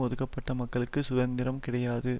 ஒடுக்கப்பட்ட மக்களுக்கு சுதந்திரம் கிடையாது